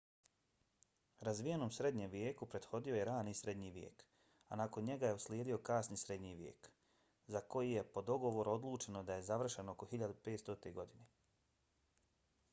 razvijenom srednjem vijeku prethodio je rani srednji vijek a nakon njega je uslijedio kasni srednji vijek za koji je po dogovoru odlučeno da je završen oko 1500. godine